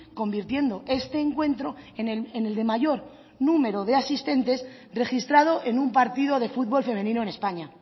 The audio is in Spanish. convirtiendo este encuentro en el de mayor número de asistentes registrado en un partido de futbol femenino en españa